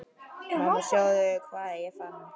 Mamma sjáðu hvað ég fann!